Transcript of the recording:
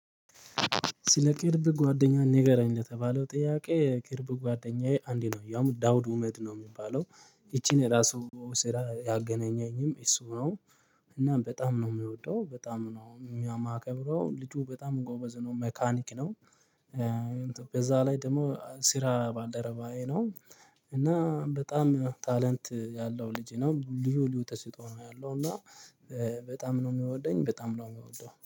ስለ ቅርብ ጓደኛ ንገረኝ ለተባለው ጥያቄ ቅርብ ጓደኛዬ አንዴ ነው ያው ዳውድ ኡመድ ነው የሚባለው ይቺን የራሱ ስራ ያገናኘኝም እሱ ነው፣ እና በጣም ነው የምወደው፣ በጣም ነው የማከብረው፣ ልጁ በጣም ጎበዝ ነው ሜካኒክ ነው ከዛ ላይ ደግሞ ስራ ባልደረባዬ ነው እና በጣም ታለንት ያለው ልጄ ነው ልዩ ተስጦ ነው ያለው እና በጣም ነው የሚወደኝ በጣም ነው የሚወደው።